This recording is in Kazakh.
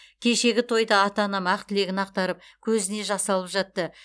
кешегі тойда ата анам ақ тілегін ақтарып көзіне жас алып жатты